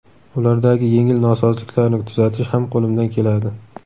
Ulardagi yengil nosozliklarni tuzatish ham qo‘limdan keladi.